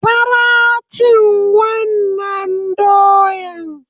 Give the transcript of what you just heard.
Fara cin wannan doyan!